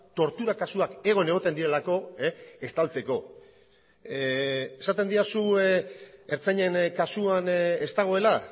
tortura kasuak egon egoten direlako estaltzeko esaten didazu ertzainen kasuan ez dagoela